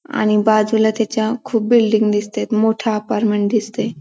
आणि बाजूला त्याच्या खूप बिल्डिंग दिसतेत मोठ अपार्टमेंट दिसतंय.